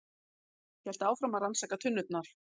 Hélt áfram að rannsaka tunnurnar.